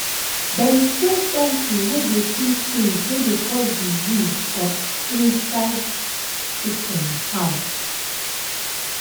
them spray something wey dey kill things wey dey cause disease for inside chicken house.